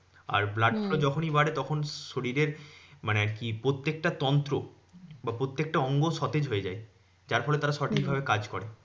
আর blood flow যখনি বাড়ে তখন শরীরের মানে আরকি প্রত্যেকটা তন্ত্র বা প্রত্যেকটা অঙ্গ সতেজ হয়ে যায়। যার ফলে তারা সঠিক ভাবে কাজ করে।